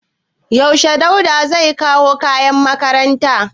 Yaushe Dauda zai kawo kayan makaranta?